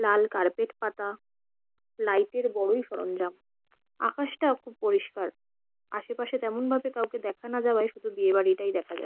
লাল carpet পাতা। Light -এর বড়োই সরঞ্জাম। আকাশটা খুব পরিষ্কার। আশেপাশে তেমনভাবে দেখা না যাওয়ায় শুধু বিয়েবাড়িটাই দেখা যাচ্ছে।